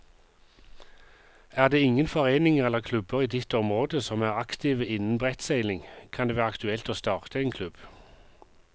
Er det ingen foreninger eller klubber i ditt område som er aktive innen brettseiling, kan det være aktuelt å starte en klubb.